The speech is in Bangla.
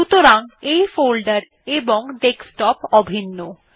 সুতরাং এই ফোল্ডার এবং ডেস্কটপ অভিন্ন